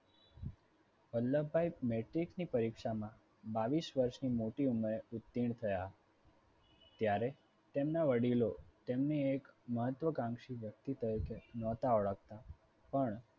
Vallabhbhai metrics ની પરીક્ષામાં બાવીસ વર્ષની મોટી ઉંમરે ઉત્તીર્ણ થયા. ત્યારે તેમના વડીલો તેમને એક મહત્વકાંક્ષી વ્યક્તિ તરીકે નહોતા ઓળખતા પણ